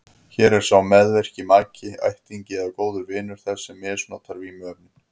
Hér er sá meðvirki maki, ættingi eða góður vinur þess sem misnotar vímuefnin.